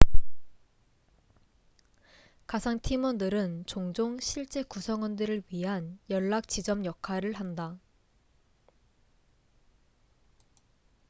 가상 팀원들은 종종 실제 구성원들을 위한 연락지점 역할을 한다